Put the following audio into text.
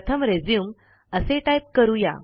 प्रथम रिझ्यूम असे टाईप करू या